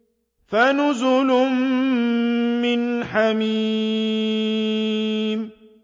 فَنُزُلٌ مِّنْ حَمِيمٍ